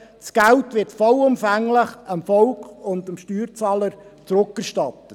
Das Geld wird vollumfänglich dem Volk und dem Steuerzahler zurückerstattet.